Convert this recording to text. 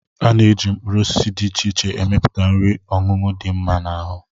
Ana-eji mkpụrụosisi dị iche iche emepụta nri ọṅụṅụ dị mma n'ahụ